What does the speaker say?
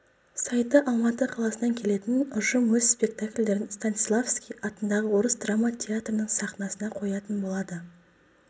сайты алматы қаласынан келетін ұжым өз спектакльдерін станиславский атындағы орыс драма театрының сахнасында қоятын болады